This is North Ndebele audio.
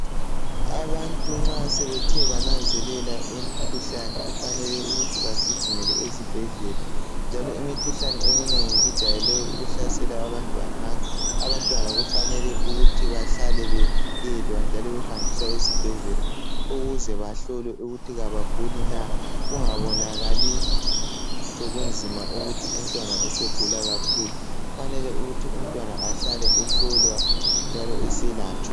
Abantu nxa sebethe bananzelela imikhuhlane kufanele ukuthi bagijimele ezibhedlela njalo imikhuhlane eminengi ijayele ukuhlasela abantwana ngakho abantwana kufanele ukuthi bahlale bevikelwa njalo behanjiswa esibhedlela ukuze bahlolwe ukuthi abaguli na kungabonakali sokunzima ukuthi umntwana usegula kakhulu. Kufanele ukuthi umntwana ahlale ehlolwa njalo eselatshwa.